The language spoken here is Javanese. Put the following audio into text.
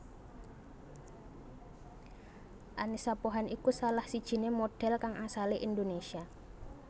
Annisa Pohan iku salah sijiné modhél kang asalé Indonésia